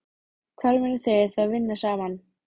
Hvar munu þeir þá vinna saman?